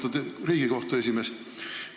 Lugupeetud Riigikohtu esimees!